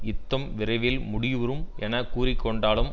யுத்தம் விரைவில் முடி வுறும் என கூறி கொண்டாலும்